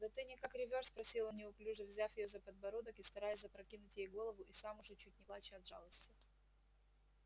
да ты никак ревёшь спросил он неуклюже взяв её за подбородок и стараясь запрокинуть ей голову и сам уже чуть не плача от жалости